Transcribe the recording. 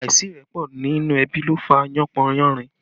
Àìsí ìrẹ́pọ̀ nínú ẹbí ló fà yánpọnyánrin